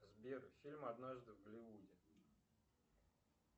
сбер фильм однажды в голливуде